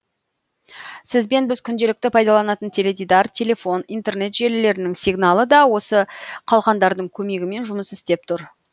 сізбен біз күнделікті пайдаланатын теледидар телефон интернет желілерінің сигналы да осы қалқандардың көмегімен жұмыс істеп тұр